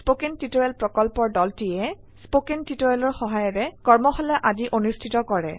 কথন শিক্ষণ প্ৰকল্পৰ দলটিয়ে কথন শিক্ষণ সহায়িকাৰে কৰ্মশালা আদি অনুষ্ঠিত কৰে